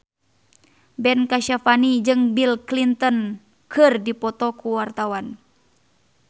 Ben Kasyafani jeung Bill Clinton keur dipoto ku wartawan